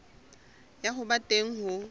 ya ho ba teng ho